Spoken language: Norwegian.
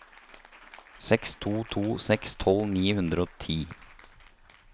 seks to to seks tolv ni hundre og ti